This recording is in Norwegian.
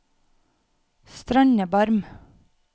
Strandebarm